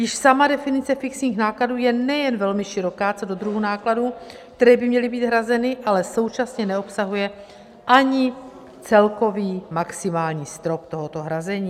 Již sama definice fixních nákladů je nejen velmi široká co do druhu nákladů, které by měly být hrazeny, ale současně neobsahuje ani celkový maximální strop tohoto hrazení.